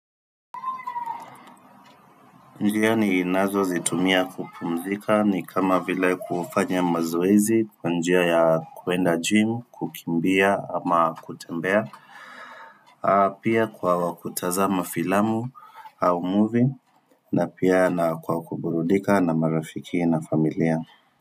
Njia ninazo zitumia kupumzika ni kama vila kufanya mazoezi kwa njia ya kuenda gym kukimbia ama kutembea Pia kwa wa kutazamafilamu au movie na pia na kwa kuburudika na marafiki na familia.